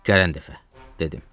Gələn dəfə, dedim.